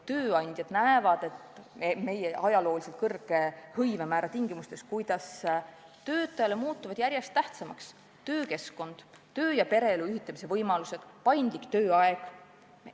Tööandjad näevad, et meie ajalooliselt suure hõivemäära tingimustes muutuvad inimestele järjest tähtsamaks töökeskkond, töö- ja pereelu ühitamise võimalused, paindlik tööaeg.